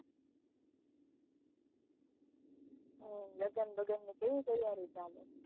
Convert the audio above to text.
હ લગન બગન ની કેવી તીયારીઓ ચાલે